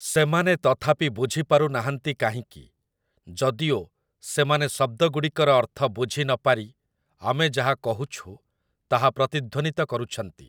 ସେମାନେ ତଥାପି ବୁଝିପାରୁ ନାହାଁନ୍ତି କାହିଁକି, ଯଦିଓ, ସେମାନେ ଶବ୍ଦଗୁଡ଼ିକର ଅର୍ଥ ବୁଝି ନପାରି ଆମେ ଯାହା କହୁଛୁ ତାହା ପ୍ରତିଧ୍ୱନିତ କରୁଛନ୍ତି ।